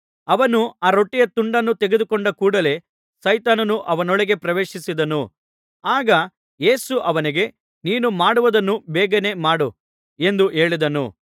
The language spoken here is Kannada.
ಅವನು ಆ ರೊಟ್ಟಿಯ ತುಂಡನ್ನು ತೆಗೆದುಕೊಂಡ ಕೂಡಲೇ ಸೈತಾನನು ಅವನೊಳಗೆ ಪ್ರವೇಶಿಸಿದನು ಆಗ ಯೇಸು ಅವನಿಗೆ ನೀನು ಮಾಡುವುದನ್ನು ಬೇಗನೇ ಮಾಡು ಎಂದು ಹೇಳಿದನು